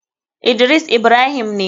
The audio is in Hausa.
Idris ibrahim ne.